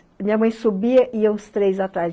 Minha mãe subia, iam os três atrás.